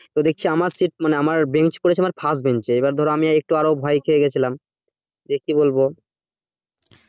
তো দেখছি আমার sit মানে আমার bench পড়েছে আমার first bench এ, এবার ধর আমি একটু আরও ভয় খেয়ে গেছিলাম যে কি বলবো